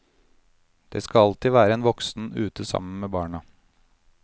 Det skal alltid være en voksen ute sammen med barna.